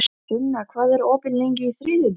Sunna, hvað er opið lengi á þriðjudaginn?